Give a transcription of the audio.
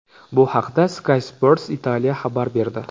Bu haqda Sky Sports Italia xabar berdi .